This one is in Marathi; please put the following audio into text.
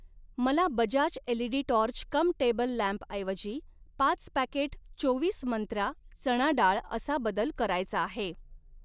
मला Bajaj LED torch cum table लॅम्पऐवजी पाच पॅकेट चोवीस मंत्रा चणा डाळ असा बदल करायचा आहे.